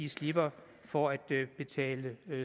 slipper for at betale